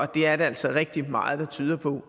det er der altså rigtig meget der tyder på